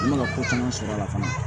I mana ko caman sɔrɔ a la fana